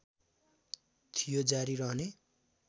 थियो जारी रहने